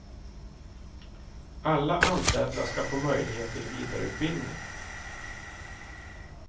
Alla anställda ska få möjlighet till vidareutbildning.